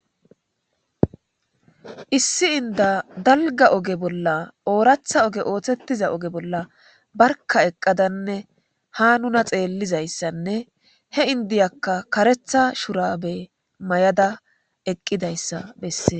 Issi inda dalga oge bolla ooratha oge ooththettiza oge bolla barka eqqadanne ha nuna xeellizayssanne he indiyakka karetha shurabe may'ada eqqidayssa bessee.